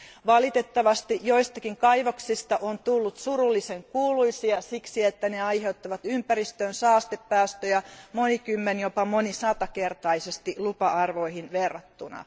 Valitettavasti joistakin kaivoksista on tullut surullisen kuuluisia siksi, että ne aiheuttavat ympäristöön saastepäästöjä monikymmen tai jopa monisatakertaisesti lupa arvoihin verrattuna.